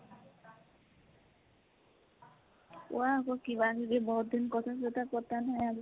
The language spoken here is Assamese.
কোৱা আকৌ কিবা কিবি বাহ্ত important কথা পতা নাই আৰু